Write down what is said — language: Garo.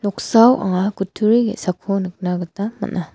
anga kutturini ge·sako nikna gita man·a.